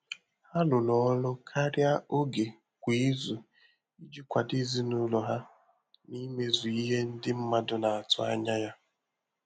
Há rụ́rụ́ ọrụ́ kàrị́à ògé kwá ízù ìjí kwàdò èzínụ́lọ há nà ímézù ìhè ndị́ mmàdụ̀ nà-àtụ́ ányá yá.